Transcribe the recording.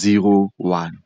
zero one.